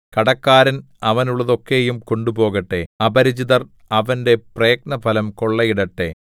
കടക്കാരൻ അവനുള്ളതൊക്കെയും കൊണ്ടുപോകട്ടെ അപരിചിതർ അവന്റെ പ്രയത്നഫലം കൊള്ളയിടട്ടെ